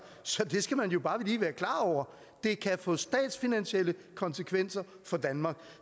så det skal man jo bare lige være klar over det kan få statsfinansielle konsekvenser for danmark